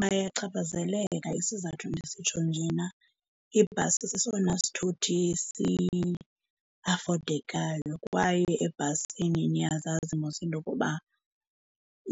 Bayachaphazeleka. Isizathu ndisitsho njena ibhasi sesona sithuthi siafodekayo kwaye ebhasini niyazazi mos into yokuba